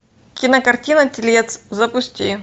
кинокартина телец запусти